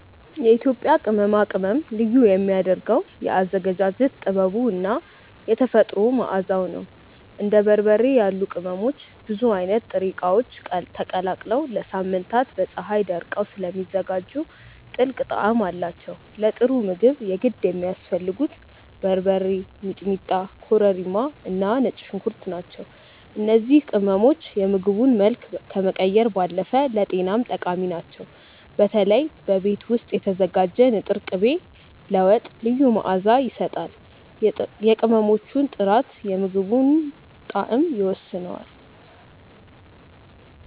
የኢትዮጵያ ቅመማ ቅመም ልዩ የሚያደርገው የአዘገጃጀት ጥበቡ እና የተፈጥሮ መዓዛው ነው። እንደ በርበሬ ያሉ ቅመሞች ብዙ አይነት ጥሬ እቃዎች ተቀላቅለው ለሳምንታት በፀሀይ ደርቀው ስለሚዘጋጁ ጥልቅ ጣዕም አላቸው። ለጥሩ ምግብ የግድ የሚያስፈልጉት በርበሬ፣ ሚጥሚጣ፣ ኮረሪማ እና ነጭ ሽንኩርት ናቸው። እነዚህ ቅመሞች የምግቡን መልክ ከመቀየር ባለፈ ለጤናም ጠቃሚ ናቸው። በተለይ በቤት ውስጥ የተዘጋጀ ንጥር ቅቤ ለወጥ ልዩ መዓዛ ይሰጣል። የቅመሞቹ ጥራት የምግቡን ጣዕም ይወስነዋል።